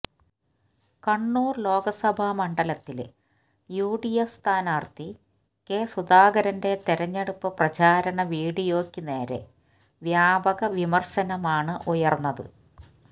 കണ്ണൂര് ലോക്സഭ മണ്ഡലത്തിലെ യുഡിഎഫ് സ്ഥാനാര്ഥി കെ സുധാകരന്റെ തെരഞ്ഞെടുപ്പ് പ്രചാരണ വിഡിയോയ്ക്ക് നേരെ വ്യാപക വിമര്ശനമാണ് ഉയര്ന്നത്